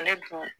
Ale dun